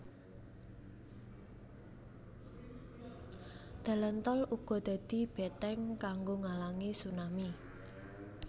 Dalan tol uga dadi beteng kanggo ngalangi tsunami